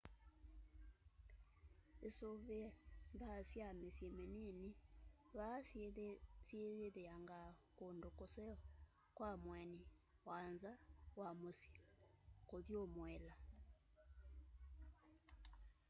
isuvie mbaa sya misyi minini vaa siyithiangaa kundu kuseo kwa mueni wa nza wa musyi kuthumuila